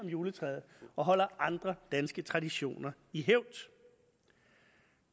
juletræet og holder andre danske traditioner i hævd